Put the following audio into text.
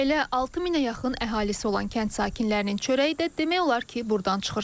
Elə 6000-ə yaxın əhalisi olan kənd sakinlərinin çörəyi də demək olar ki, burdan çıxır.